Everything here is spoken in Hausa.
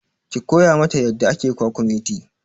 Ki koya ma ta yadda ake kwakumeti!